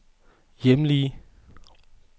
hjemlige